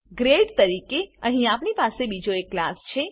grade તરીકે અહીં આપણી પાસે બીજો એક ક્લાસ છે